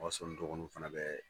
O y'a sɔrɔ n dɔgɔniw fana bɛ